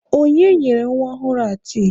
Onye nyere nwa ọhụrụ a tii?